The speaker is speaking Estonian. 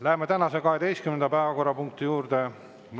Läheme tänase 12. päevakorrapunkti juurde.